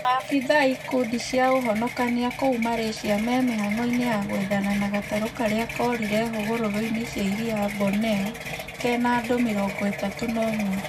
Maabithaa a ikundi cia ũhonokania kũu Malysia me mĩhang'o-inĩ ya gwethana na gatarũ karĩa korire hũgũrũrũ-inĩ cia iria Borneo, kena andũ mĩrongo ĩtatu na ũmwe.